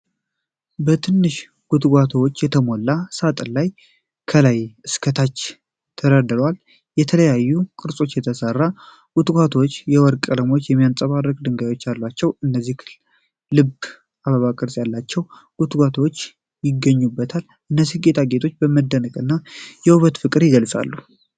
በትናንሽ ጉትቻዎች የተሞላ ሳጥን ከላይ እስከ ታች ተደርድሯል። በተለያዩ ቅርጾች የተሠሩት ጉትቻዎች የወርቅ ቀለምና የሚያብረቀርቅ ድንጋይ አላቸው። ከነዚህ ልብና አበባ ቅርፅ ያላቸው ጉትቻዎች ይገኙበታል። እነዚህ ጌጣጌጦች መደነቅንና የውበት ፍቅርን ይገልጻሉ።